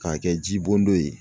K'a kɛ ji bɔn don ye.